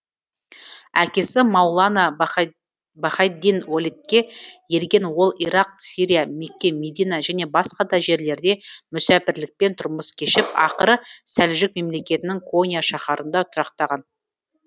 әкесі маулана баһаиддин уәлидке ерген ол ирақ сирия мекке медина және басқа да жерлерде мүсәпірлікпен тұрмыс кешіп ақыры сәлжүк мемлекетінің конья шаһарында тұрақтаған